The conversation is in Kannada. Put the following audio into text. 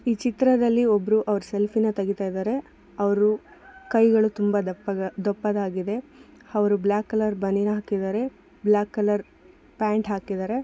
ಈ ಚಿತ್ರದಲ್ಲಿ ಒಬ್ರು ಅವ್ರ್ ಸೆಲ್ಫಿ ನ ತೆಗಿತಾಯ್ದರೆ ಅವ್ರು ಕೈಗಳು ತುಂಬಾ ದಪ್ಪ ದಪ್ಪದಾಗಿದೆ ಅವ್ರು ಬ್ಲಾಕ್ ಕಲರ್ ಬನಿನ್ ಹಾಕಿದಾರೆ ಬ್ಲಾಕ್ ಕಲರ್ ಪ್ಯಾಂಟ್ ಹಾಕಿದಾರೆ.